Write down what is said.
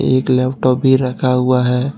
एक लैपटाप भी रखा हुआ है।